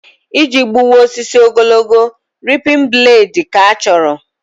Iji gbuwa osisi ogologo, ripin bladị ka-achọrọ